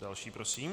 Další prosím.